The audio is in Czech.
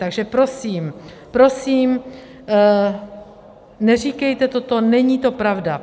Takže prosím, prosím, neříkejte toto, není to pravda.